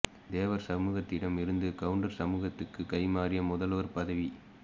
தேவர் சமூகத்திடம் இருந்து கவுண்டர் சமூகத்துக்கு கை மாறிய முதல்வர் பதவி